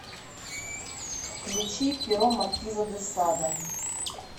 включи перо маркиза де сада